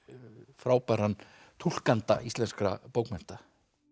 frábæran túlkanda íslenskra bókmennta